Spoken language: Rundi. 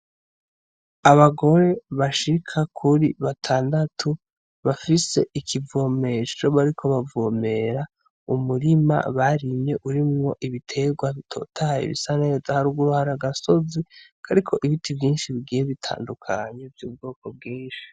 Abagore bashika kuri batandatu bafise ikivomesho bariko bavomera umurima barimye urimwo ibitegwa bitotahaye bisaneza , haruguru hari agasozi kariko ibiti vyinshi bigiye bitandukanye vy'ubwoko bwinshi.